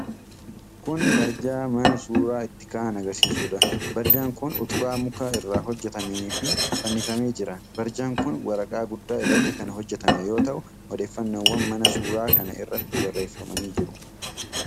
Kun barjaa mana suura itti ka'an agarsiisudha. Barjaan kun utubaa muka irraa hojjatametti fannifamee jira. Barjaan kun waraqaa guddaa irratti kan hojjatame yoo ta'u odeeffannoowwan mana suuraa kana irratti barreefamanii jiru.